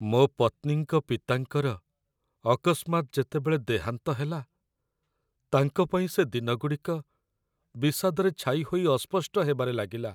ମୋ ପତ୍ନୀଙ୍କ ପିତାଙ୍କର ଅକସ୍ମାତ୍ ଯେତେବେଳେ ଦେହାନ୍ତ ହେଲା, ତାଙ୍କ ପାଇଁ ସେ ଦିନଗୁଡ଼ିକ ବିଷାଦରେ ଛାଇ ହୋଇ ଅସ୍ପଷ୍ଟ ହେବାରେ ଲାଗିଲା।